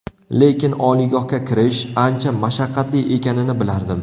Lekin oliygohga kirish, ancha mashaqqatli ekanini bilardim.